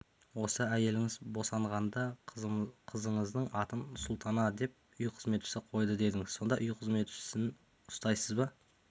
осы әйеліңіз босанғанда қызыңыздың атын султана деп үй қызметшісі қойды дедіңіз сонда үй қызметшісін ұстайсыз ба